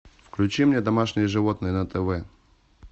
включи мне домашние животные на тв